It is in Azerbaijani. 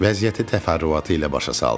Vəziyyəti təfərrüatı ilə başa saldım.